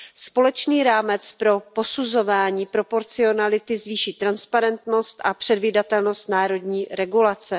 Společný rámec pro posuzování proporcionality zvýší transparentnost a předvídatelnost národní regulace.